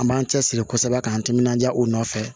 An b'an cɛsiri kosɛbɛ k'an timinandiya u nɔfɛ